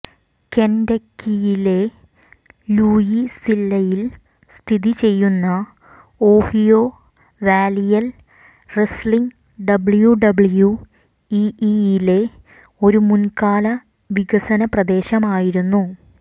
കെന്റക്കിയിലെ ലൂയിസ്വില്ലയിൽ സ്ഥിതിചെയ്യുന്ന ഓഹിയോ വാലിയൽ റെസ്ലിംഗ് ഡബ്ല്യുഡബ്ല്യുഇഇയിലെ ഒരു മുൻകാല വികസന പ്രദേശമായിരുന്നു